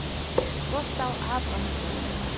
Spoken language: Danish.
Gustav Abrahamsen